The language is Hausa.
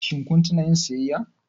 Shin kun tuna yin siyayya?